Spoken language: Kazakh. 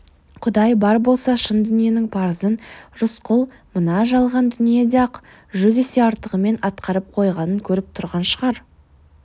құдай бар болса шын дүниенің парызын рысқұл мына жалған дүниеде-ақ жүз есе артығымен атқарып қойғанын көріп тұрған шығар